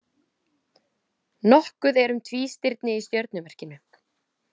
Nokkuð er um tvístirni í stjörnumerkinu.